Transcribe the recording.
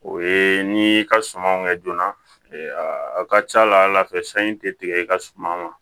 O ye n'i y'i ka sumanw kɛ joona a ka ca la fɛ sanji tɛ tigɛ i ka suma ma